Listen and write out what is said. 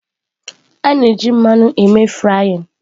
A na-eji mmanụ eme frying.